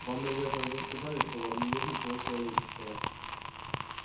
вам наверное уже сказали что во мне нет ничего человеческого